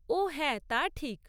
ওঃ হ্যাঁ, তা ঠিক।